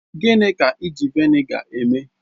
Gịnị ka eji Vị́nịga eme?